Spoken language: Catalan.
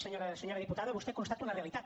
senyora diputada vostè constata una realitat